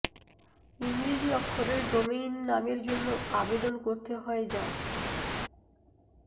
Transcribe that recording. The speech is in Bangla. ইংরেজি অক্ষরের ডোমেইন নামের জন্য আবেদন করতে হয় যা